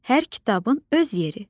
Hər kitabın öz yeri.